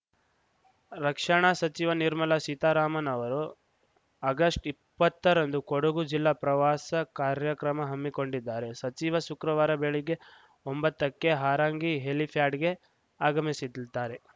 ರಕ್ಷಣಾ ಸಚಿವ ನಿರ್ಮಲಾ ಸೀತಾರಾಮನ್‌ ಅವರು ಆಗಸ್ಟ್ ಇಪ್ಪತ್ತರಂದು ಕೊಡಗು ಜಿಲ್ಲಾ ಪ್ರವಾಸ ಕಾರ್ಯಕ್ರಮ ಹಮ್ಮಿಕೊಂಡಿದ್ದಾರೆ ಸಚಿವ ಶುಕ್ರವಾರ ಬೆಳಿಗ್ಗೆ ಒಂಬತ್ತಕ್ಕೆ ಹಾರಂಗಿ ಹೆಲಿಫ್ಯಾಡ್‌ಗೆ ಆಗಮಿಸಿ ದ್ದಾರೆ